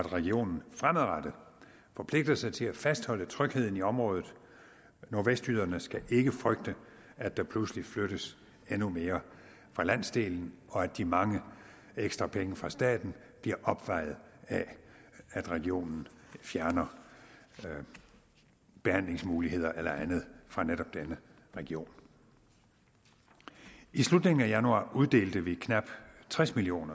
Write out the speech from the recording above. at regionen fremadrettet forpligter sig til at fastholde trygheden i området nordvestjyderne skal ikke frygte at der pludselig flyttes endnu mere fra landsdelen og at de mange ekstra penge fra staten bliver opvejet af at regionen fjerner behandlingsmuligheder eller andet fra netop denne region i slutningen af januar uddelte vi knap tres million